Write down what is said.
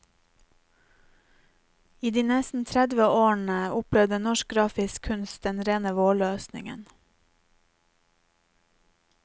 I de nesten tredve årene opplevde norsk grafisk kunst den rene vårløsningen.